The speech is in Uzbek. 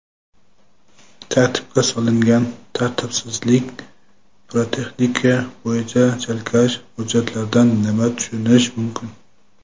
"Tartibga solingan" tartibsizlik: pirotexnika bo‘yicha chalkash hujjatlardan nima tushunish mumkin?.